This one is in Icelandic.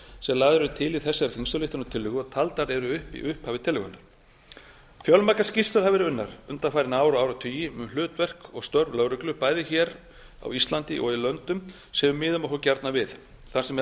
sem eru lagðar til í þessari þingsályktunartillögu og taldar eru upp í upphafi tillögunnar fjölmargar skýrslur hafa verið unnar undanfarin ár og áratugi um hlutverk og störf lögreglu bæði hér á íslandi og í löndum sem við miðum okkur gjarnan við þar sem meðal